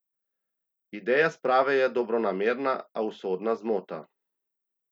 Ideja sprave je dobronamerna, a usodna zmota.